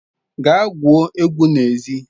Gaa gwuo egwu n'ezi